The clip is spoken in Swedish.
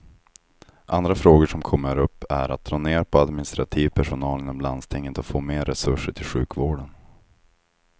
Andra frågor som kommer upp är att dra ner på administrativ personal inom landstinget och få mer resurser till sjukvården.